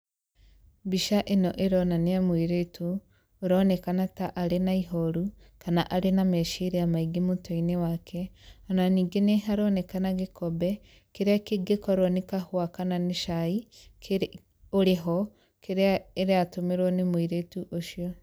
Mbica ĩno ĩronania mũirĩtu, ũronekana ta arĩ na ihoru, kana arĩ na meciria maingĩ mũtwe-inĩ wake, o na ningĩ neharonekana gĩkombe, kĩrĩa kĩngĩkorwo nĩ kahũa kana nĩ cai, kĩrĩ, ũrĩ ho, kĩrĩa ĩratũmĩrwo nĩ mũirĩtu ũcio